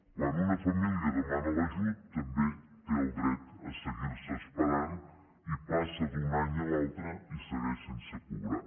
quan una família demana l’ajut també té el dret a seguir se esperant i passa d’un any a l’altre i segueix sense cobrar